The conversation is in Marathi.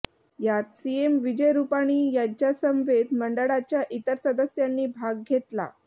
यात सीएम विजय रुपाणी यांच्यासमवेत मंडळाच्या इतर सदस्यांनी भाग घेतला